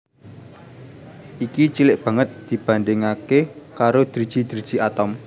Iki cilik banget dibandhingaké karo driji driji atom